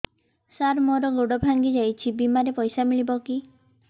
ସାର ମର ଗୋଡ ଭଙ୍ଗି ଯାଇ ଛି ବିମାରେ ପଇସା ମିଳିବ କି